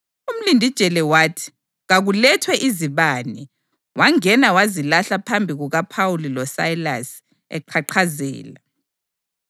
Umlindijele wathi kakulethwe izibane, wangena wazilahla phambi kukaPhawuli loSayilasi eqhaqhazela.